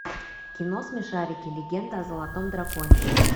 кино смешарики легенда о золотом драконе